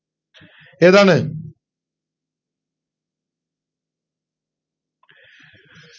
ഏതാണ്